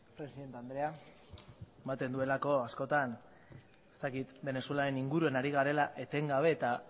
presidente andrea ematen duelako askotan ez dakit venezuelaren inguruan ari garela etengabe eta